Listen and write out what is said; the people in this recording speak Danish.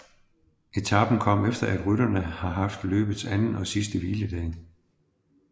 Etapen kom efter at rytterne har haft løbets anden og sidste hviledag